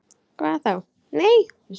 Hvað þá., nei.